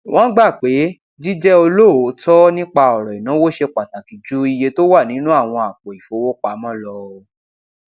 wón gbà pé jíjé olóòótó nípa òrọ ìnáwó ṣe pàtàkì ju iye tó wà nínú àwọn àpò ìfowópamọ lọ